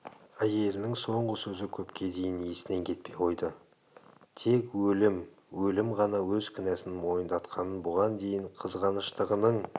әйелінің соңғы сөзі көпке дейін есінен кетпей қойды тек өлім өлім ғана өз кінәсін мойындатқанын бұған дейін қызғаныштығының